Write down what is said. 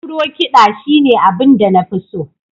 Afro- kiɗa shine abin da na fi so